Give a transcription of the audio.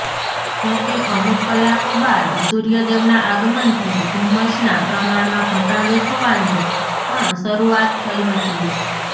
જોકે અમુક કલાકો બાદ સૂર્યદેવના આગમનથી ધુમ્મસના પ્રમાણમાં ઘટાડો થવાની પણ શરૃઆત થઈ હતી